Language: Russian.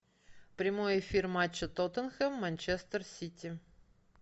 прямой эфир матча тоттенхэм манчестер сити